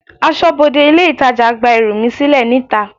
Aṣọbode ilé itàjà gba ẹrù mi sílè níta.